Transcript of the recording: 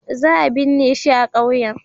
Za a binne shi a kauyen.